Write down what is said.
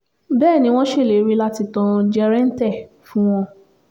bẹ́ẹ̀ ni wọ́n ṣèlérí láti tàn jẹ̀rẹ̀ǹtẹ̀ fún wọn